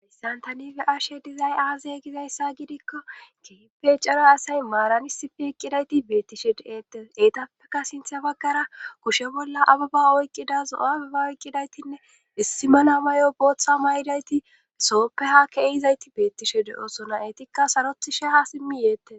Santanife ashe dizay aazay gizayssa gidikko gepe cara asay maarani sipi eqqidayti beettishe de'eette eetappeka sinthe baggara kushe bolla ababa oyqqidazo'ababa oyqqidaytinne issi mana mayo booththa may'dayti sopehake ehizayti beettishe de'osona etikka sarothi sheha simmi yeette